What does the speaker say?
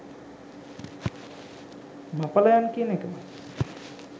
මපලයන් කියන එකමයි.